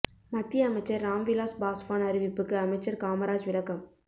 மத்திய அமைச்சர் ராம் விலாஸ் பாஸ்வான் அறிவிப்புக்கு அமைச்சர் காமராஜ் விளக்கம்